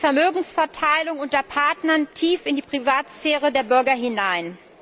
Es regelt die Vermögensverteilung unter Partnern tief in die Privatsphäre der Bürger hinein.